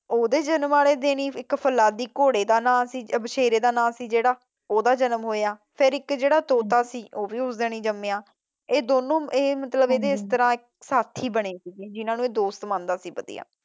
ਉਹਦੇ ਜਨਮ ਵਾਲੇ ਦਿਨ ਹੀ ਇਕ ਫੋਲਾਦੀ ਸ਼ੇਰ ਦੀ ਜਨਮ ਹੋਇਆ ਫਿਰ ਇੱਕ ਜਿਹੜਾ ਤੋਤਾ ਸੀ ਉਹ ਵੀ ਉਸ ਦਿਨ ਹੀ ਜੰਮਿਆ। ਇਹ ਦੋਨੋ ਇਹਦੇ ਸਾਥੀ ਬਣੇ ਜ਼ਿਹਨਾਂ ਨੂੰ ਇਹ ਦੋਸਤ ਮੰਦਾ ਸੀ ਵਧਿਆ।